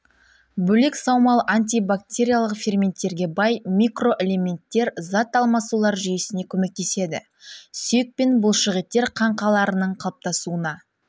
бөлек саумал антибактериялық ферменттерге бай микроэлементтер зат алмасулар жүйесіне көмектеседі сүйек пен бұлшықеттер қаңқаларының қалыптасуына